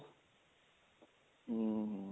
ਹਮ ਹਮ